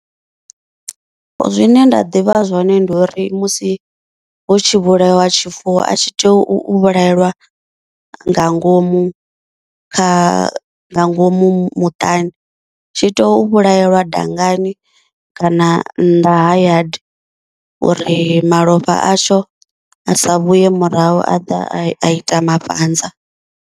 Zwine nda ḓivha zwone ndi uri musi hu tshi vhulaiwa tshifuwo a tshi tea u vhulaelwa nga ngomu kha nga ngomu muṱani, tshi to u vhulaelwa dangani kana nnḓa ha yard uri malofha atsho a sa vhuye murahu a ḓa a ita mafhanza.